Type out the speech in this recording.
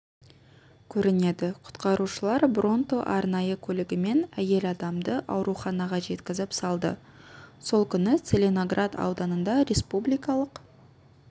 көрінеді құтқарушылар бронто арнайы көлігімен әйел адамды ауруханаға жеткізіп салды сол күні целиноград ауданында республикалық